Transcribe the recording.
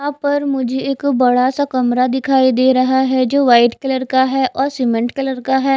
यहां पर मुझे एक बड़ा सा कमरा दिखाई दे रहा है जो वाइट कलर का है और सीमेंट कलर का है।